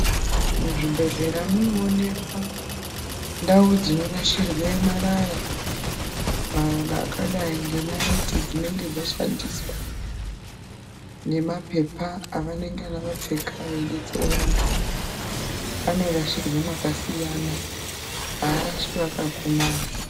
Muzvibhedhlera munoonekwa ndau dzinorashirwe marara, marara akadai enaiti dzinenge dzashandiswa nemapepa avanenge vakapfeka vachibetsera vantu anorashirwe makasiyana haarashwi akakomana.